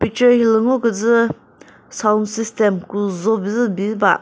ce hilü ngo küzü sound system küzho bizü bi ba.